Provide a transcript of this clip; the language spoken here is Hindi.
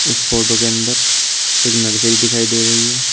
इस फोटो के अंदर एक नर्सरी दिखाई दे रही है।